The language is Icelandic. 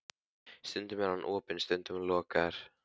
Stundum er hann opinn, stundum lokaður.